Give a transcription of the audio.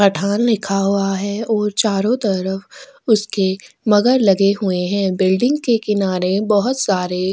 पठान लिखा हुआ है और चारों तरफ उसके मगर लगे हुए हैं बिल्डिंग के किनारे बहुत सारे --